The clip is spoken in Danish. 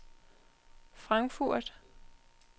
Frankfurt